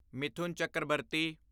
Mithun Chakraborty